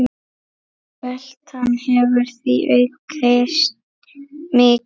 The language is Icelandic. Veltan hefur því aukist mikið.